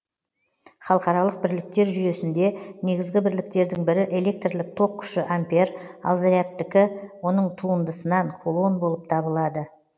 халықаралық бірліктер жүйесінде негізгі бірліктердің бірі электрлік ток күші ампер ал зарядтікі оның туындысынан кулон болып табылады